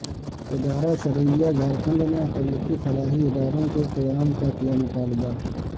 ادارہ شرعیہ جھارکھنڈ نے اقلیتی فلاحی اداروں کے قیام کا کیا مطالبہ